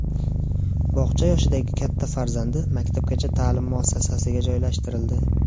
Bog‘cha yoshidagi katta farzandi maktabgacha ta’lim muassasasiga joylashtirildi.